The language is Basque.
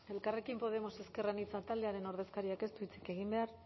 elkarrekin podemos ezker anitza taldearen ordezkariak ez du hitzik egin behar